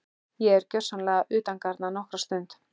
Ég er gjörsamlega utangarna nokkra stund.